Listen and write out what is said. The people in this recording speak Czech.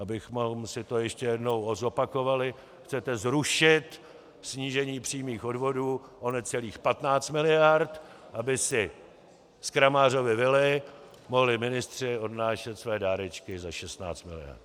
Abychom si to ještě jednou zopakovali: Chcete zrušit snížení přímých odvodů o necelých 15 miliard, aby si z Kramářovy vily mohli ministři odnášet své dárečky za 16 miliard.